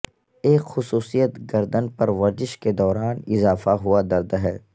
ایک خصوصیت گردن پر ورزش کے دوران اضافہ ہوا درد ہے